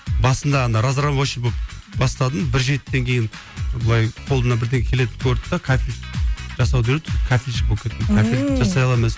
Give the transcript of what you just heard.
басында ана разнорабочий болып бастадым бір жетіден кейін былай қолымнан бірдеңе келетін көрді де кафель жасауды үйретті кафелщик болып кеттім кафель жасай аламын өзім